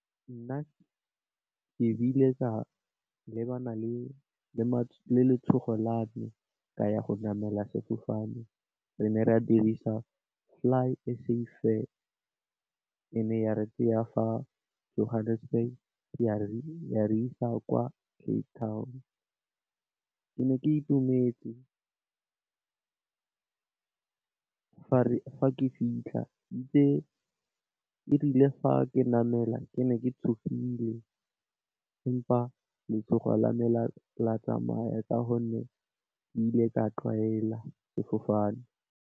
Nna ke bile ka lebana le le letshogo la me ka ya go namela sefofane re ne re dirisa FlySAfair, e ne ya re tsaya fa Johannesburg ya re isa kwa Cape town. Ke ne ke itumetse fa ke fitlha itse, erile fa ke namela ke ne ke tshogile empa letshogo la me la tsamaya ka gonne ke ile ka tlwaela sefofane.